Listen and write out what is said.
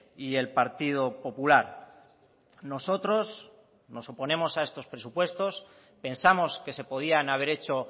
y el partido popular nosotros nos oponemos a estos presupuestos pensamos que se podían haber hecho